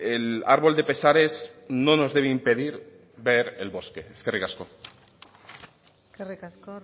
el árbol de pesares no nos debe impedir ver el bosque eskerrik asko eskerrik asko